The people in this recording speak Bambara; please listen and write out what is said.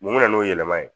Mun bɛ na n'o yɛlɛma ye